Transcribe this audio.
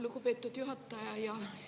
Lugupeetud juhataja!